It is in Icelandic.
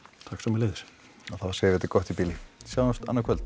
takk sömuleiðis og þá segjum við þetta gott í bili sjáumst annað kvöld